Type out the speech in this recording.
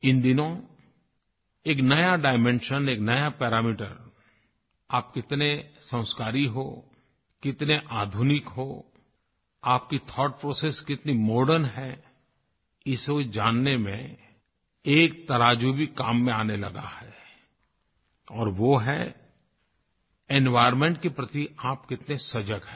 इन दिनों एक नया डाइमेंशन एक नया पैरामीटर आप कितने संस्कारी हो कितने आधुनिक हो आपकी थाउटप्रोसेस कितनी मॉडर्न है ये सब जानने में एक तराजू भी काम में आने लगा है और वो है एनवायर्नमेंट के प्रति आप कितने सजग हैं